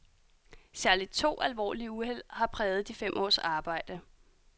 Særligt to alvorlige uheld har præget de fem års arbejde.